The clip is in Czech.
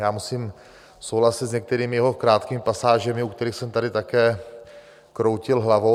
Já musím souhlasit s některými jeho krátkými pasážemi, u kterých jsem tady také kroutil hlavou.